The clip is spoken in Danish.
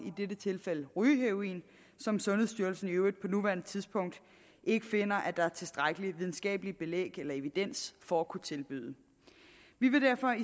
i dette tilfælde rygeheroin som sundhedsstyrelsen i øvrigt på nuværende tidspunkt ikke finder at der er tilstrækkelig videnskabeligt belæg eller videnskabelig evidens for at kunne tilbyde vi vil derfor